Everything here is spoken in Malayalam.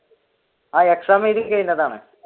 ആഹ് exam എഴുതി കഴിഞ്ഞതാണ്